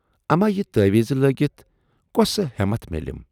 اَما یہِ تٲویٖزٕ لٲگِتھ کۅسہٕ ہٮ۪متھ میلٮ۪م۔